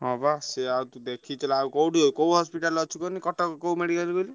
ହଁ ବା ସିଏ ଆଉ ତୁ ଦେଖିଥିଲେ ଆଉ କୋଉଠି କୋଉ hospital ରେ ଅଛୁ କହନି କଟକ କୋଉ medical କହିଲୁ?